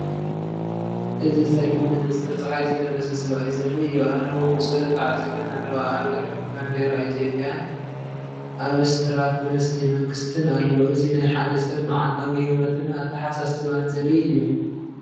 እዚ ጸሊም መነፀር ጸሓይ ዝለበሰ ሰብኣይ ዘርኢ እዩ። ኣእዳዉ ብጸሎት ተዓጺፈን ኣለዋ። ኣብ ድሕሪት ባንዴራ ኢትዮጵያን ኣብስትራክት ምስሊ መንግስቲን ኣሎ። እዚ ናይ ሓደ ሰብ መዓልታዊ ህይወትን ኣተሓሳስባን ዘርኢ እዩ።